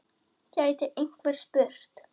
gæti einhver spurt.